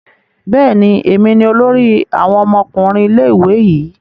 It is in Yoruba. Bẹẹni, èmi ní olórí awon ọmọkùnrin ilé-ìwé yi